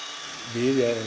við